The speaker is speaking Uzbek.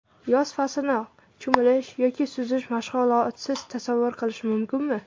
Yoz faslini cho‘milish yoki suzish mashg‘ulotisiz tasavvur qilish mumkinmi?